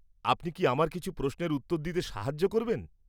আপনি কি আমার কিছু প্রশ্নের উত্তর দিতে সাহায্য করবেন?